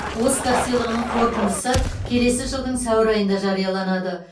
оскар сыйлығының қорытындысы келесі жылдың сәуір айында жарияланады